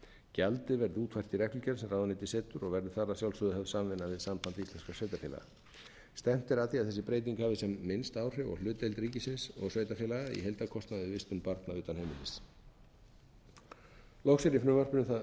gjaldið verði útfært í reglugerð sem ráðuneytið setur og verður þar að sjálfsögðu höfð samvinna við samband íslenskra sveitarfélaga stefnt er að því að þessi breyting hafi sem minnst áhrif á hlutdeild ríkisins og sveitarfélaga í heildarkostnaði við vistun barna utan heimilis loks er í frumvarpinu það